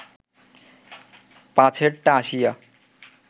পাছেরটা আসিয়া